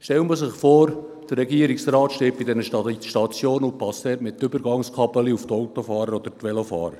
Man stelle sich vor, der Regierungsrat stehe bei diesen Ladestationen und warte dort mit Übergangskabeln auf die Auto- oder Velofahrer.